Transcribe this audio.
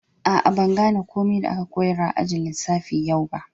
Aa, ban gane komi da aka koyars a'ajin lissafi yau ba.